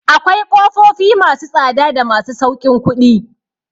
Akwai ƙofofi ma su tsada da masu sauƙin kuɗi.